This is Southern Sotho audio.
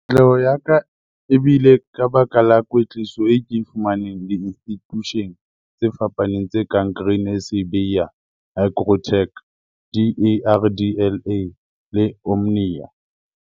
Katleho ya ka e bile ka baka la kwetliso eo ke e fumaneng diinstitusheng tse fapaneng tse kang Grain SA Bayer, Hygrotech, DARDLA le Omnia.